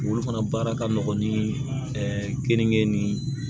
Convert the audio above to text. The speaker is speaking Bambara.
Olu fana baara ka nɔgɔn ni kenige ni